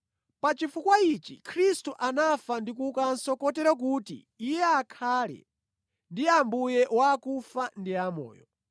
Pa chifukwa ichi, Khristu anafa ndi kuukanso kotero kuti Iye akhale ndi Ambuye wa akufa ndi amoyo.